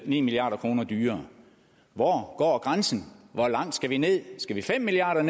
ni milliard kroner dyrere hvor går grænsen hvor langt skal vi ned skal vi fem milliard